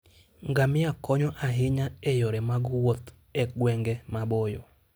Ngamia konyo ahinya e yore mag wuoth e gwenge maboyo.